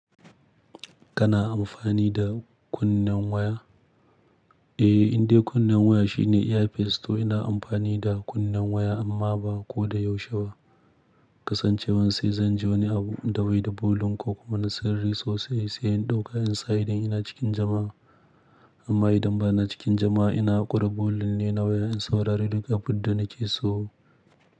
Kana amfani da kunnen waya? Eh, indai kunnen waya shine ear piece toh ina amfani da kunnen waya amma ba ko da yaushe ba. Kasancewan sai zan ji wani abu in da baida volume ko kuma na sirri sosai sai in ɗauka in sa idan ina cikin jama'a. Amma idan bana cikin jama'a ina haƙo da bulin ne na waya in saurari duk abinda nake so.